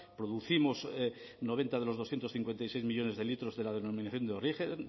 producimos noventa de los doscientos cincuenta y seis millónes de litros de la denominación de origen